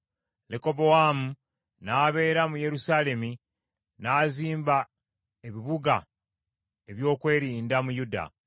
Lekobowaamu n’abeera mu Yerusaalemi, n’azimba ebibuga eby’okwerinda mu Yuda: